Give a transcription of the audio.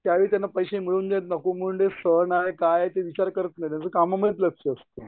चारिकडनं पैसे मिळून देत नको मिळून देत सण आहे काय आहे ते विचार नाही करत त्यांचं कामाकडे लक्ष असतं.